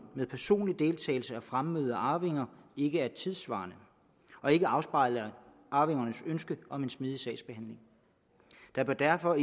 med personlig deltagelse og fremmøde af arvinger ikke er tidssvarende og ikke afspejler arvingernes ønske om en smidig sagsbehandling der bør derfor